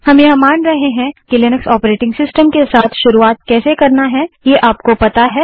हम यह मानते हैं कि लिनक्स ऑपरेटिंग सिस्टम के साथ शुरुआत कैसे करना है ये आपको पता है